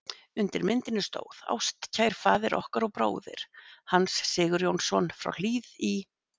Undir myndinni stóð: Ástkær faðir okkar og bróðir, Hans Sigurjónsson frá Hlíð í